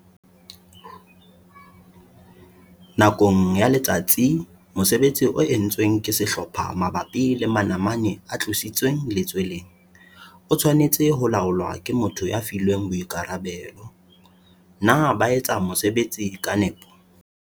Nakong ya letsatsi mosebetsi o entsweng ke sehlopha mabapi le manamane a tlositsweng letsweleng o tshwanetse ho laolwa ke motho ya filweng boikarabelo - na ba etsa mosebetsi ka nepo?